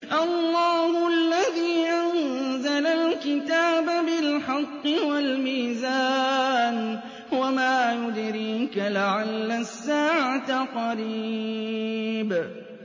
اللَّهُ الَّذِي أَنزَلَ الْكِتَابَ بِالْحَقِّ وَالْمِيزَانَ ۗ وَمَا يُدْرِيكَ لَعَلَّ السَّاعَةَ قَرِيبٌ